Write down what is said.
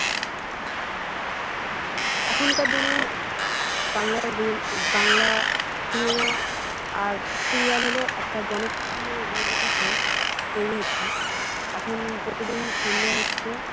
এখনকার দিনে বাংলা বাংলা cinema আর সিরিয়াল হল একটা জনপ্রিয় reality show তৈরি হচ্ছে এখন প্রতিদিন সন্ধ্যে হচ্ছে।